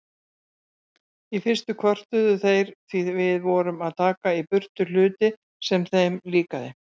Í fyrstu kvörtuðu þeir því við vorum að taka í burtu hluti sem þeim líkaði.